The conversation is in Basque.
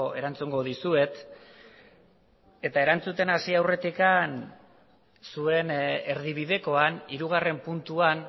erantzungo dizuet eta erantzuten hasi aurretik zuen erdibidekoan hirugarren puntuan